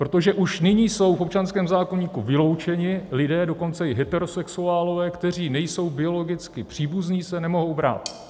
Protože už nyní jsou v občanském zákoníku vyloučeni lidé, dokonce i heterosexuálové, kteří nejsou biologicky příbuzní, se nemohou brát.